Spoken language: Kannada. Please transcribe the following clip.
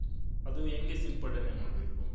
ಅದು ಹೆಂಗೆ ಸಿಂಪಡನೆ ಮಾಡ್ಬೇಕು.